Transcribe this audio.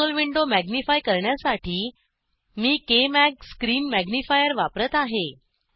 console window magnify करण्यासाठी मी KMag screen magnifier वापरत आहे